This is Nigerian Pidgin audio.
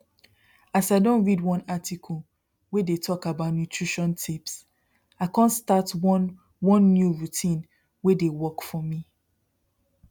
as i don read one article wey dey talk about nutrition tips i come start one one new routine wey dey work for me